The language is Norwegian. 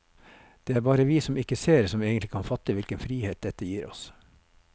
Det er bare vi som ikke ser, som egentlig kan fatte hvilken frihet dette gir oss.